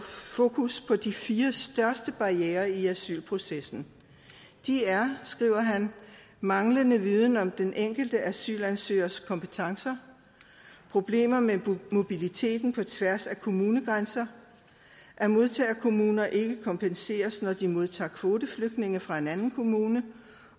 fokus på de fire største barrierer i asylprocessen de er skriver han manglende viden om den enkelte asylansøgers kompetencer problemer med mobiliteten på tværs af kommunegrænser at modtagerkommuner ikke kompenseres når de modtager kvoteflygtninge fra en anden kommune